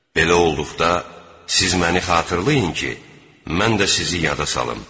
Belə olduqda siz məni xatırlayın ki, mən də sizi yada salım.